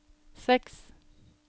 seks